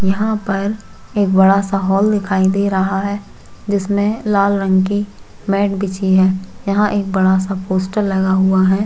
यहाँ पर एक बड़ा सा हॉल दिखाई दे रहा है जिसमे लाल रंग की मैट बिछी है जिसमें एक बड़ा सा पोस्टर लगा हुआ है।